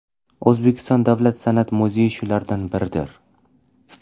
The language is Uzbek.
O‘zbekiston davlat san’at muzeyi shulardan biridir.